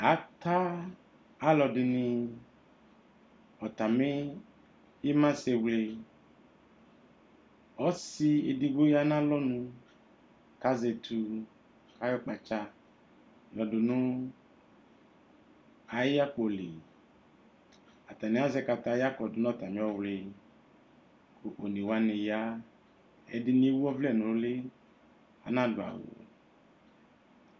Aka aludini atami imasɛwle Ɔsi edigbo ya nalɔnu, kazɛKʋ onewatu, kayɔkpatsa yɔdunʋ ayakpoliAtani azɛ kataya kɔdu natamiɔwliKʋ onewani yaƐdini ewu ɔvlɛ nuli, anadu'awu